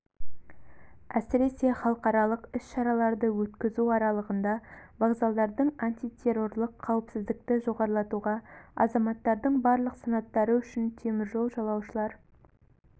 әсіресе халықаралық іс-шараларды өткізу аралығында вокзалдардың антитеррорлық қауіпсіздікті жоғарылатуға азаматтардың барлық санаттары үшін теміржол жолаушылар